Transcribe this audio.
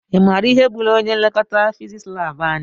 I maara ihe gbúrù ọnye nlekọta fiziks lab anyị?